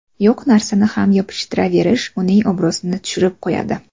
Yo‘q narsani ham yopishtiraverish uning obro‘sini tushirib qo‘yadi.